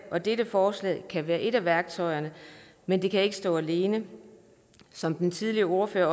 og dette forslag kan være et af værktøjerne men det kan ikke stå alene som den tidligere ordfører